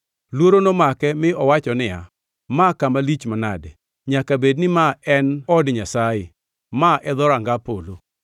Luoro nomake mi owacho niya, “Ma kama lich manade! Nyaka bedni ma en od Nyasaye; ma en dhoranga polo.”